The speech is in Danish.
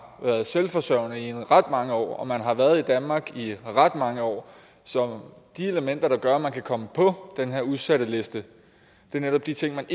været selvforsørgende i ret mange år og man har været i danmark i ret mange år så de elementer der gør at man kan komme på den her udsatteliste er netop de ting man